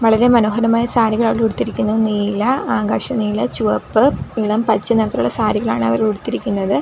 വളരെ മനോഹരമായ സാരികൾ അവര് ഉടുത്തിരിക്കുന്നു നീല ആകാശ നീല ചുവപ്പ് ഇളം പച്ചനിറത്തിലുള്ള സാരികളാണ് അവർ ഉടുത്തിരിക്കുന്നത്.